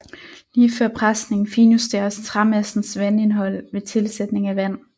Lige før presning finjusteres træmassens vandindhold ved tilsætning af vand